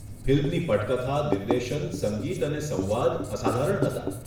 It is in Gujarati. ફિલ્મની પટકથા, નિર્દેશન, સંગીત અને સંવાદ અસાધારણ હતો.